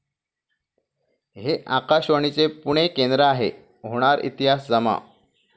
हे आकाशवाणीचे पुणे केंद्र आहे' होणार इतिहास जमा!